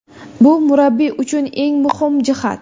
Bu murabbiy uchun eng muhim jihat.